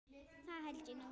Það held ég nú.